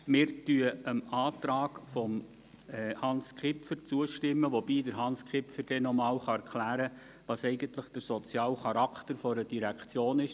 Wir stimmen dem Antrag von Hans Kipfer zu, wobei dann Hans Kipfer noch einmal erklären kann, was eigentlich der soziale Charakter einer Direktion ist: